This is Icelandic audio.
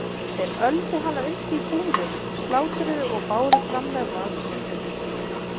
Þeir öldu hana upp í búrum, slátruðu og báru fram með valhnetum.